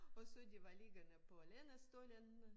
Og så de var liggende på lænestolen